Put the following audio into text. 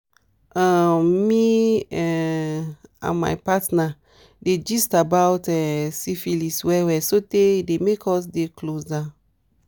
um me um and my partner dey gist about um syphilis well well sotey e dey make us dey closer